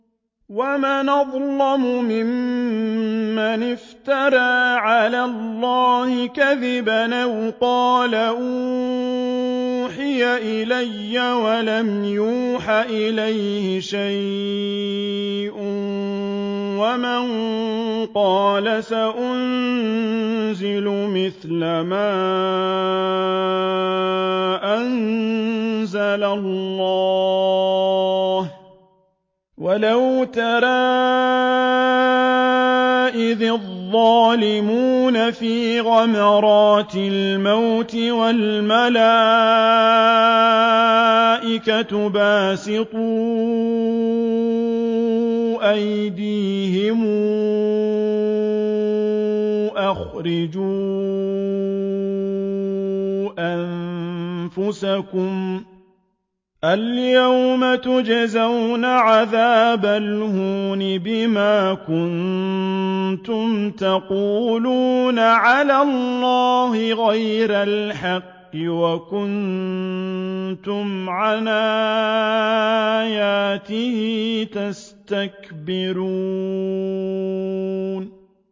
وَمَنْ أَظْلَمُ مِمَّنِ افْتَرَىٰ عَلَى اللَّهِ كَذِبًا أَوْ قَالَ أُوحِيَ إِلَيَّ وَلَمْ يُوحَ إِلَيْهِ شَيْءٌ وَمَن قَالَ سَأُنزِلُ مِثْلَ مَا أَنزَلَ اللَّهُ ۗ وَلَوْ تَرَىٰ إِذِ الظَّالِمُونَ فِي غَمَرَاتِ الْمَوْتِ وَالْمَلَائِكَةُ بَاسِطُو أَيْدِيهِمْ أَخْرِجُوا أَنفُسَكُمُ ۖ الْيَوْمَ تُجْزَوْنَ عَذَابَ الْهُونِ بِمَا كُنتُمْ تَقُولُونَ عَلَى اللَّهِ غَيْرَ الْحَقِّ وَكُنتُمْ عَنْ آيَاتِهِ تَسْتَكْبِرُونَ